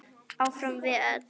Áfram við öll.